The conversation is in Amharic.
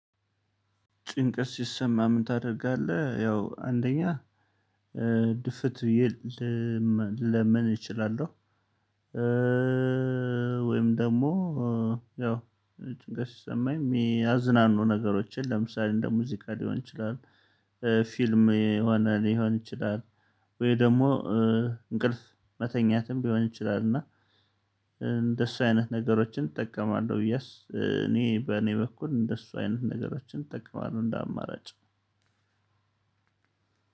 ጭንቀት ሲሰማም ምን ታደርጋለህ? ያው አንደኛ ድፍት ብዬ ልለምን እችላለሁ። ወይም ደግሞ ያው ጭንቀት ሲሰማኝ የሚያዝናኑ ነገሮችን ለምሳሌ እንደ ሙዚቃ ሊሆን ይችላል። ፊልም የሆነ ሊሆን ይችላል። ወይ ደግሞ እንቅልፍ መተኛትም ቢሆን ይችላል እና እንደሱ አይነት ነገሮችን እጠቀማለሁ። የስ እኔ በእኔ በኩል እንደሱ አይነት ነገሮችን እጠቀማለሁ እንደ አማራጭ።